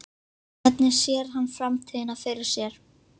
Hvernig sér hann framtíðina fyrir sér?